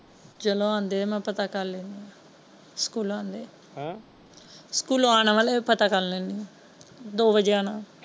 ਚੱਲੋ ਆਉਂਦੇ ਨੇ ਮੈਂ ਪਤਾ ਕਰ ਲੈਣੀ ਹਾਂ ਸਕੂਲ ਆਉਂਦੇ ਹੈ ਹਮ ਸਕੂਲੋ ਆਉਣਾ ਵਾਲੇ ਹੈ ਮੈਂ ਪਤਾ ਕਰ ਲੈਣੀ ਹਾਂ ਦੋ ਵੱਜੇ ਆਉਣਾ ਉਹਨਾਂ ਨੇ।